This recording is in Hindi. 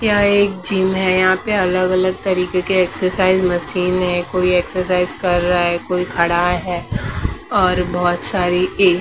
यह एक जिम है यहां पे अलग-अलग तरीके के एक्सरसाइज मशीन है कोई एक्सरसाइज कर रहा है कोई खड़ा है और बहुत सारी एक--